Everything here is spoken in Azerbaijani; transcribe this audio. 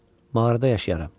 Mağarada yaşayaram.